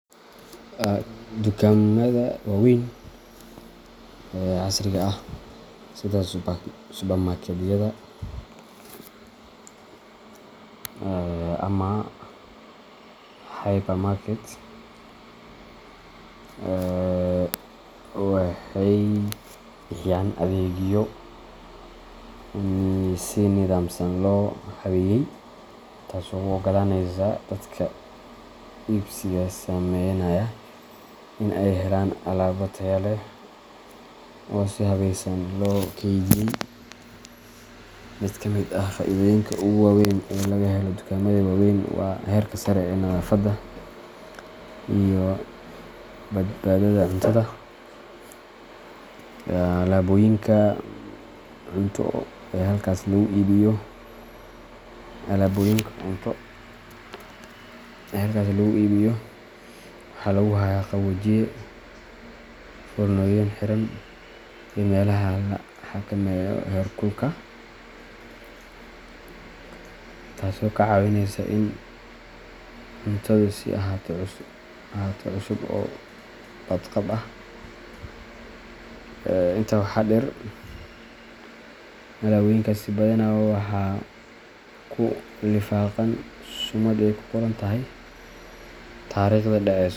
Dukaamada waaweyn ee casriga ah, sida supermarketyada ama hypermarket, waxay bixiyaan adeegyo si nidaamsan loo habeeyay, taasoo u oggolaanaysa dadka iibsiga sameynaya in ay helaan alaabo tayo leh oo si habeysan loo keydiyey. Mid ka mid ah faa’iidooyinka ugu waaweyn ee laga helo dukaamada waaweyn waa heerka sare ee nadaafadda iyo badbaadada cuntada. Alaabooyinka cunto ee halkaas lagu iibiyo waxaa lagu hayaa qaboojiye, foornooyin xiran, iyo meelaha la xakameeyo heerkulka, taasoo ka caawinaysa in cuntadu sii ahaato cusub oo badqab ah. Intaa waxaa dheer, alaabooyinkaasi badanaa waxaa ku lifaaqan sumad ay ku qoran tahay taariikhda dhaceso.